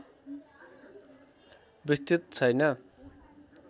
विस्तृत छैन